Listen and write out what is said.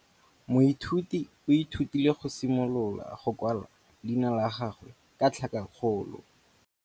Moithuti o ithutile go simolola go kwala leina la gagwe ka tlhakakgolo.